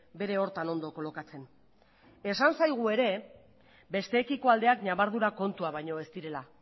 bere horretan ondo kolokatzen esan zaigu ere besteekiko aldeak ñabardura kontuak baino ez direla